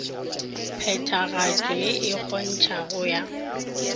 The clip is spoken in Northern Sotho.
phethagatšo ye e kgontšhago ya